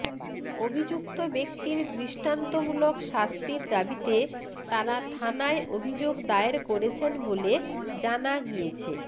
অভিযুক্ত ব্যক্তির দৃষ্টান্তমূলক শাস্তির দাবিতে তারা থানায় অভিযোগ দায়ের করেছেন বলে জানা গিয়েছে